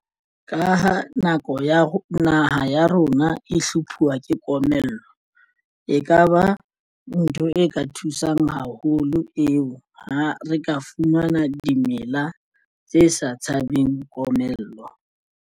Ka ha nako ya naha ya rona e hlophuwa ke komello e kaba ntho e ka thusang haholo eo. Ha re ka fumana dimela tse sa tshabeng komello.